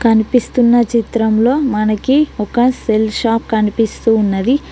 కనిపిస్తున్న చిత్రంలో మనకి ఒక సెల్ షాప్ కనిపిస్తూ ఉన్నది.